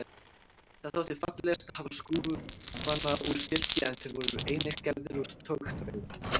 Það þótti fallegast að hafa skúfana úr silki en þeir voru einnig gerðir úr togþræði.